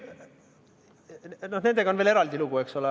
Nendega on veel eraldi lugu, eks ole.